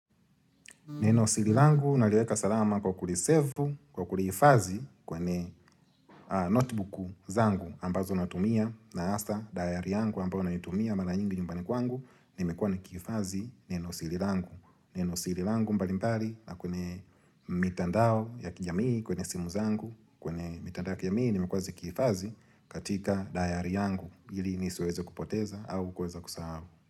Neno siri langu naliweka salama kwa kulisevu, kulihifadhi kwenye notebook zangu ambazo natumia na hasaa diary yangu ambayo naitumia mara nyingi nyumbani kwangu nimekuwa nahifadhi neno siri langu. Neno siri langu mbalimbali na kwenye mitandao ya kijamii, kwenye simu zangu, kwenye mitandao ya kijamii nimekuwa nazihifadhi katika diary yangu ili nisiweze kupoteza au kuweza kusahau.